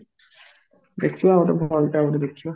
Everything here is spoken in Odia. ଦେଖିବା ଗୋଟେ ଭଲଟା ଗୋଟେ ଦେଖିବା